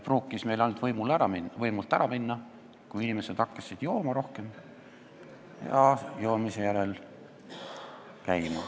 Pruukis meil ainult võimult ära minna, kui inimesed hakkasid rohkem jooma ja jookide järel käima.